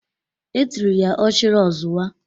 E tiri ya "Ochiri ozuwa"